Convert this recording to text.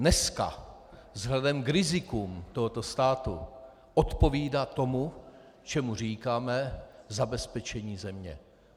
Dneska vzhledem k rizikům tohoto státu odpovídá tomu, čemu říkáme zabezpečení země.